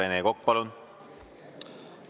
Rene Kokk, palun!